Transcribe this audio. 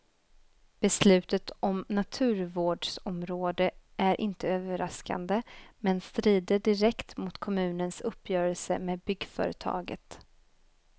Beslutet om naturvårdsområde är inte överraskande, men strider direkt mot kommunens uppgörelse med byggföretaget.